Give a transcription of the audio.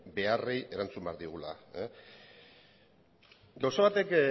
beharrei erantzun behar diegula gauza batek